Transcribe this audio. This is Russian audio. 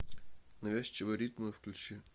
навязчивые ритмы включи